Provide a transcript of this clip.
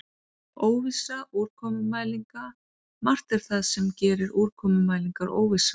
Óvissa úrkomumælinga Margt er það sem gerir úrkomumælingar óvissar.